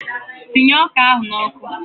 Sinye ọka ahụ n'ọkụ!